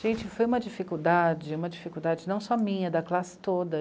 Gente, foi uma dificuldade, uma dificuldade não só minha, da classe toda.